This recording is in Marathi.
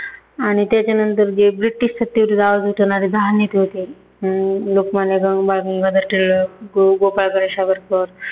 आणि त्याच्यानंतर जे british अं लोकमान्य बाळ गंगाधर टिळक, गो गोपाळ गणेश आगरकर